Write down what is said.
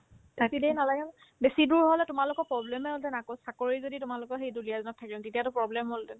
থাকি দে নালাগে নহয় বেছিদূৰ হ'লে তোমালোকৰ problem সৈতে নাকচ চাকৰি যদি তোমালোকৰ সেই দুলীয়াজানত থাকে তেতিয়াতো problem হ'লহেতেন